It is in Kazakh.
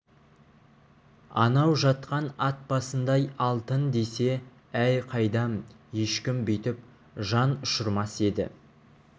анау жатқан ат басындай алтын десе әй қайдам ешкім бүйтіп жан ұшырмас еді